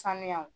Sanuyaw